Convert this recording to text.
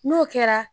N'o kɛra